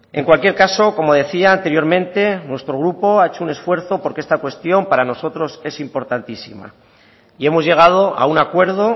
en cualquier caso como decía anteriormente nuestro grupo ha hecho un esfuerzo porque esta cuestión para nosotros es importantísima y hemos llegado a un acuerdo